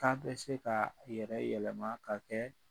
K'a bɛ se ka a yɛrɛ yɛlɛma ka kɛ